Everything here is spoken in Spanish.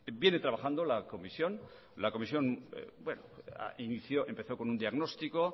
viene trabajando la comisión la comisión empezó con un diagnóstico